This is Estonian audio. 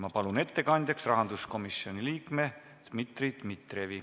Ma palun ettekandjaks rahanduskomisjoni liikme Dmitri Dmitrijevi.